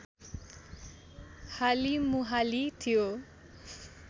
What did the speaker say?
हालिमुहाली थियो